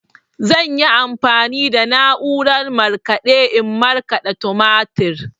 Zan yi amfani da na'urar markaɗe in markaɗa tumatir.